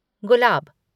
गुलाब